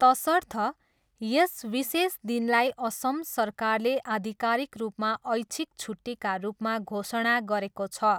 तसर्थ, यस विशेष दिनलाई असम सरकारले आधिकारिक रूपमा ऐच्छिक छुट्टीका रूपमा घोषणा गरेको छ।